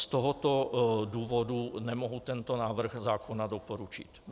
Z tohoto důvodu nemohu tento návrh zákona doporučit.